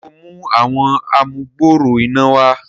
ṣe o mú Àwọn amugbooro iná wá?